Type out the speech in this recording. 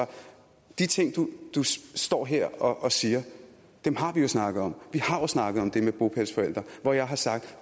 de ting du står her og siger har vi jo snakket om har jo snakket om det med bopælsforældre hvor jeg har sagt